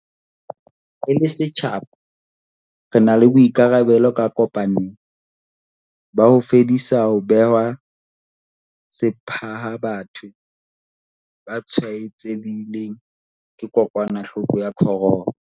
Re le setjhaba re na le boikarabelo ka kopanelo, ba ho fedisa ho bewa sepha ha batho ba tshwaetsehileng ke kokwanahloko ya corona.